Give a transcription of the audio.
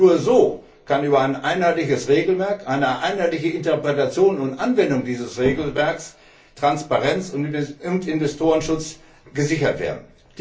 Nur so kann über ein einheitliches Regelwerk, eine einheitliche Interpretation und Anwendung dieses Regelwerks Transparenz und Investorenschutz gesichert werden.